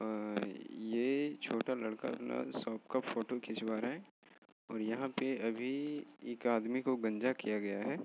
अह्ह् ये छोटा लड़का अपना शॉप का फोटो खिचवा रहा है और यहाँ पर अभी एक आदमी को गंजा किया हुवा है।